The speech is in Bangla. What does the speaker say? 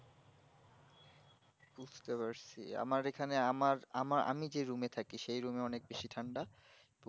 বুঝতে পারছি আমার এখানে আমার আমার আমি যেই room এ থাকি সেই room এ অনেক বেশি ঠান্ডা